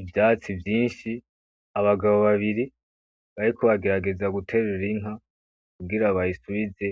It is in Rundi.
Ivyatsi vyinshi abagabo babiri bariko bagerageza guterura inka kugira bayisubize